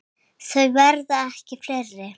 Þau verða ekki fleiri.